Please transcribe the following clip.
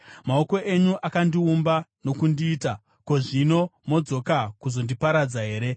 “Maoko enyu akandiumba uye akandigadzira. Zvino modzoka kuzondiparadza here?